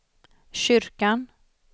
kyrkan